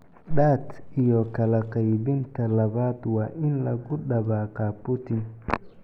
(DAT) iyo kala qaybinta labaad waa in lagu dabaqaa booting.